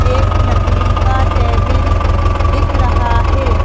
एक लकड़ी का टेबिल दिख रहा है।